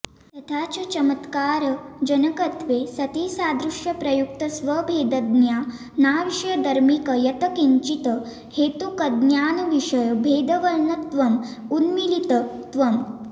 तथा च चमत्कारजनकत्वे सति सादृश्यप्रयुक्तस्वभेदज्ञानाविषयधर्मिक यत् किञ्चित् हेतुकज्ञानविषयभेदवर्णनत्वं उन्मीलितत्वम्